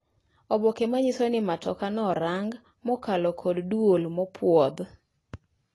Oboke manyiso ni matoka no orang mokalo kod duol mopwodh